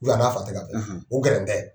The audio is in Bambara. a n'a fa tɛka bɛn, o gɛrɛntɛ de bɛ yen.